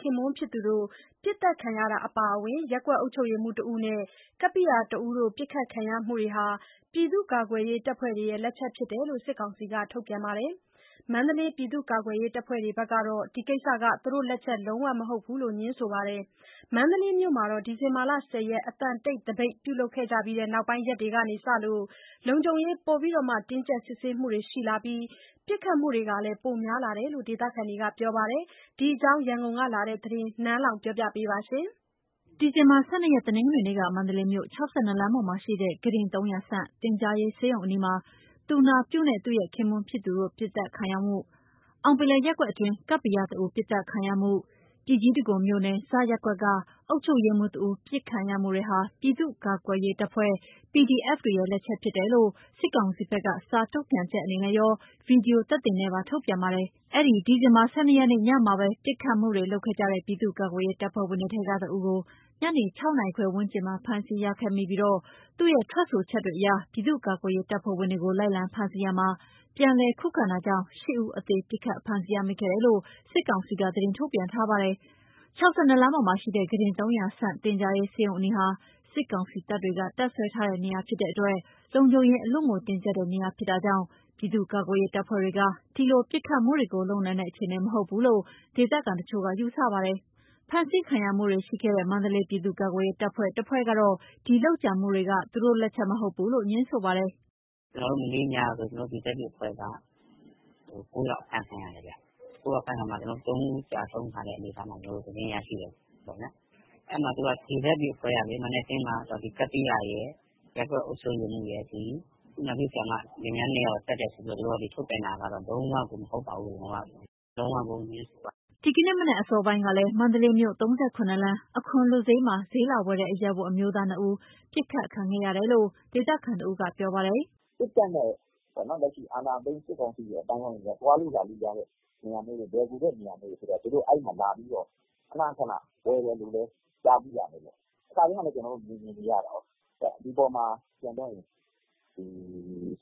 ခင်ပွန်းဖြစ်သူတို့ ပစ်သတ်ခံရမှုအပါအဝင် ရပ်ကွက်အုပ်ချုပ်ရေးမှူးတဦးနဲ့ ကပ္ပိယတဦးတို့ ပစ်ခတ်ခံရမှုတွေဟာ ပြည်သူ့ ကာကွယ်ရေးတပ်ဖွဲ့တွေရဲ့ လက်ချက်ဖြစ်ကြောင်း စစ်ကောင်စီက ထုတ်ပြန်ပါတယ်။ မန္တလေး ပြည့်သူ့ကာကွယ်ရေးတပ်ဖွဲ့တွေကတော့ ဒီကိစ္စဟာ သူတို့လက်ချက် လုံးဝမဟုတ်ကြောင်း ငြင်းဆိုပါတယ်။ မန္တလေးမြို့မှာတော့ ဒီဇင်ဘာလ ၁၀ ရက် အသံတိတ် သပိတ် ပြုလုပ်ကြပြီးနောက်ပိုင်းရက်တွေကစလို့ လုံခြုံရေး ပိုမိုတင်းကြပ် စစ်ဆေးမှုတွေ ရှိလာပြီး ပစ်ခတ်မှုတွေ ပိုများလာနေတယ်လို့ ဒေသခံတွေက ပြောကြပါတယ်။ ဒီအကြောင်း ရန်ကုန်ကလာတဲ့သတင်း နန်းလောဝ်က တင်ပြထားပါတယ်။ ဒီဇင်ဘာ ၁၂ ရက် တနင်္ဂနွေနေ့က မန္တလေးမြို့ ၆၂ လမ်းပေါ်မှာရှိတဲ့ ကုတင် ၃၀၀ ဆံ့ သင်ကြားရေး ဆေးရုံအနီးမှာ သူနာပြုနဲ့ ခင်ပွန်းဖြစ်သူတို့ပစ်သတ်ခံရမှု၊ အောင်ပင်လယ်ရပ်ကွက်အတွင်း ကပ္ပိယတဦး ပစ်သတ်ခံရမှု၊ ပြည်ကြီးတံခွန်မြို့နယ် (ဇ) ရပ်ကွက်က အုပ်ချုပ်ရေးမှူးတဦး ပစ်ခတ်ခံရမှုတွေဟာ ပြည်သူကာကွယ်ရေး တပ်ဖွဲ့ PDF တွေရဲ့ လက်ချက်ဖြစ်တယ်လို့ စစ်ကောင်စီဖက်က စာထုတ်ပြန်ချက်အနေနဲ့ရော Video သက်သေနဲ့ပါ ထုတ်ပြန်ပါတယ်။ အဲ့ဒီ ဒီဇင်ဘာ ၁၂ ရက်နေ့ညနေမှာပဲ ပစ်ခတ်မှုတွေလုပ်ခဲ့ကြတဲ့ ပြည်သူကာကွယ်ရေး တပ်ဖွဲ့ဝင်တွေထဲကတဦးကို ညနေ ၆ နာရီခွဲ ဝန်းကျင်မှာ ဖမ်းဆီးရမိခဲ့ပြီး သူ့ရဲ့ ထွက်ဆိုချက်တွေအရ ပြည်သူ့ကာကွယ်ရေး တပ်ဖွဲ့ဝင်တွေကို လိုက်လံဖမ်းဆီးရာမှာ ပြန်လည်ခုခံတာကြောင့် ၈ ဦး အသေပစ်ခတ် ဖမ်းဆီးရမိခဲ့တယ်လို့ စစ်ကောင်စီက သတင်းထုတ်ပြန်ထားပါတယ်။ ၆၂ လမ်းပေါ်မှာရှိတဲ့ ကုတင် ၃၀၀ ဆံ့ သင်ကြားရေး ဆေးရုံအနီးဟာ စစ်ကောင်စီတပ်တွေက တပ်စွဲထားတဲ့နေရာဖြစ်တဲ့အတွက် လုံခြုံရေး အလွန်တင်းကြပ်တဲ့ နေရာဖြစ်တာကြောင့် ပြည်သူ့ကာကွယ်ရေး တပ်ဖွဲ့တွေက ဒီလို ပစ်ခတ်မှုတွေကို လုပ်နိုင်တဲ့ အခြေအနေမဟုတ်ဘူးလို့ ဒေသခံတချို့ကယူဆပါတယ်။ ဖမ်းဆီးခံရမှုတွေရှိခဲ့တဲ့ မန္တလေး ပြည်သူ့ကာကွယ်ရေးတပ်ဖွဲ့တဖွဲ့ကတော့ ဒီလုပ်ကြံမှုတွေ သူတို့လုပ်တာမဟုတ်ဘူးလို့ ငြင်းဆိုပါတယ်။ “မနေ့ညက ကျနော်တို့ GEN Z တွေအဖွဲ့က ၉ ယောက် အဖမ်းခံရတယ်ဗျ။ ၉ ဦးဖမ်းခံရတာမှာ ၃ ဦးကျဆုံးတဲ့အနေအထားလို့ ကျွန်တော်တို့ သတင်းရတယ်။ အဲ့မှာ သူတို့ က ဒီ GEN Z တွေအဖွဲ့ကပဲ မနက်က ကပ္ပိယရယ်၊ ရပ်ကွက်အုပ်ချုပ်ရေးမှူးရယ်၊ ဒီ သူနာပြုဆရာမ လင်မယား နှစ်ယောက်ရယ်ကို သတ်တယ်ဆိုပြီးတော့ ထုတ်ပြန်တာကတော့ လုံးဝကို မဟုတ်ပါဘူးလို့ လုံးဝကို ငြင်းဆိုပါတယ်။” ဒီကနေ့မနက် အစောပိုင်းကလည်း မန္တလေးမြို့ ၃၇ လမ်း၊ အခွန်လွတ်ဈေးမှာ ဈေးလာဝယ်တဲ့ အရပ်ဝတ် အမျိုးသားနှစ်ဦး ပစ်ခတ်ခံခဲ့ရတယ်လို့ ဒေသခံတဦးကပြောပါတယ်။ “စစ်တပ်နဲ့ ခုအာဏာသိမ်း စစ်ကောင်စီကလူတွေ အသိမ်းအဝိုင်းတွေ သွားလို့လာလို့ ရတဲ့ လွယ်ကူတဲ့ နေရာမျိုးတွေဖြစ်တော့ အဲ့မှာ သူတို့ ခဏခဏ ဈေးလာဝယ်တာတို့ ကြားမိတယ်၊ ခါတိုင်းလည်း ကျနော်တို့ မြင်မြင်နေရတာကိုး၊ ဒီအပေါ်မှာ ဒီလို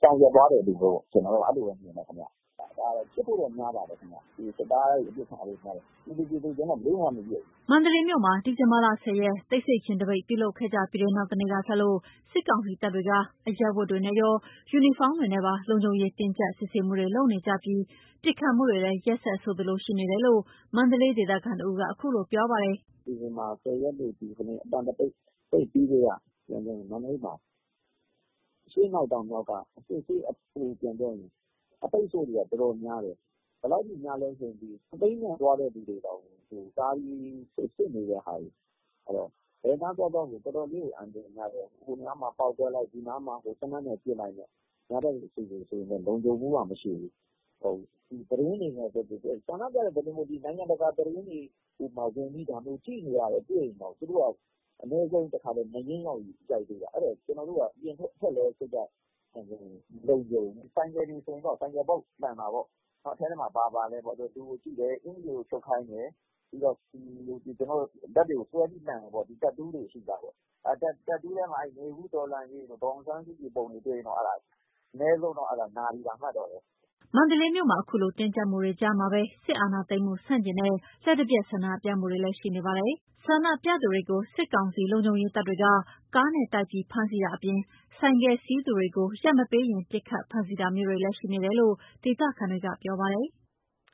ဆောင်ရွက်သွားတယ်လို့ပဲ မြင်တယ်ဗျ။ ဒါက ဖြစ်ဖို့တော့များတယ်။ စစ်သားတွေပဲ ပစ်ခံရတာဖြစ်ဖို့များတယ်။ ပြည်သူအချင်းချင်းတော့ ဘယ်သူမှ ပစ်မနေဘူး။” မန္တလေးမြို့မှာ ဒီဇင်ဘာလ ၁၀ ရက် တိတ်ဆိတ်ခြင်း သပိတ်ပြုလုပ်ကြပြီးတဲ့ နောက်နေ့ကစလို့ စစ်ကောင်စီတပ်တွေက အရပ်ဝတ်တွေနဲ့ရော ယူနီဖောင်းတွေနဲ့ပါ လုံခြုံရေးတင်းကြပ် စစ်ဆေးမှုတွေ လုပ်နေကြပြီး ပစ်ခတ်မှုတွေလဲ ရက်ဆက်ဆိုသလို ရှိနေတယ်လို့ မန္တလေးဒေသခံတဦးက ခုလိုပြောပါတယ်။ “ဒီမှာက ၁၀ ရက်နေ့ အသံတိတ်သပိတ်ပြီးကတည်းက မန္တလေးမှာ အရှေ့အနောက် တောင်မြောက် အပိတ်အဆို့တွေက အတော်များတယ်။ ဘယ်လောက်ထိများလဲဆို စက်ဘီးနဲ့သွားတဲ့သူတွေတောင်မှ တားပြီး စစ်နေတဲ့ဟာတွေ၊ အဲ့တော့ ဘယ်နားသွားသွားကို တော်တော်လေးကို အန္တရာယ်များတယ်။ ဟိုနားမှာ ပေါက်ကွဲလိုက်၊ ဒီနားမှာ ပစ်ခတ်လိုက်နဲ့ အများပြည်သူအတွက်က လုံခြုံမှုက မရှိဘူး။ သတင်းတွေ ရှိရင်၊ ဆန္ဒပြတဲ့သတင်းတွေ၊ နိုင်ငံတကာသတင်းဌာနက သတင်းတွေ ကြည့်နေတာမျိုး တွေ့ရင်တောင် အနည်းဆုံးတခါတော့ နားရင်းရိုက်ခံရတာပဲ။ အဲ့တော့ ကျနော်တို့က အပြင်ထွက်လည်း စိတ်က မလုံခြုံဘူး။ ဆိုင်ကယ်တွေဆိုရင် ဆိုင်ကယ်ဘောက် လှန်တာပေါ့၊ အထဲမှာ ဘာပါလဲပေါ့။ လူကိုကြည့်တယ်၊ အကျ်ီတွေကို ချွတ်ခိုင်းတယ်။ ပြီးတော့ လက်တွေကို ဆွဲလှန်တယ်။ တက်တူးတွေ ရှိလားပေါ့၊ တက်တူးထဲမှာ နွေဦးတော်လှန်ရေးတို့၊ ဒေါ်အောင်ဆန်းစုကြည်ပုံတွေ တွေ့ရင် အနည်းဆုံးကတော့ နာပြီသာ မှတ်တော့ပဲ။” မန္တလေးမြို့မှာ အခုလို တင်းကြပ်မှုတွေကြာမှာပဲ စစ်အာဏာသိမ်းမှုဆန့်ကျင်တဲ့လျှပ်တပြတ်ဆန္ဒပြမှုတွေကလည်း ရှိနေပါတယ်။ ဆန္ဒပြသူတွေကို စစ်ကောင်စီလုံခြုံရေးတပ်တွေက ကားနဲ့တိုက်ပြီး ဖမ်းဆီးတာအပြင် ဆိုက်ကယ်စီးသူတွေကို ရပ်မပေးရင် ပစ်ခတ်ဖမ်းဆီးတာမျိုးတွေလည်း ရှိနေတယ်လို့ ဒေသခံတွေက ပြောပါတယ်။